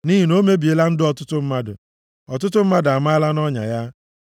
Nʼihi na o mebiela ndụ ọtụtụ mmadụ, ọtụtụ mmadụ amaala nʼọnya ya.